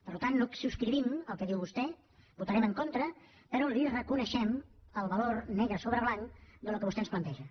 per tant no subscrivim el que diu vostè votarem en contra però li reconeixem el valor negre sobre blanc del que vostè ens planteja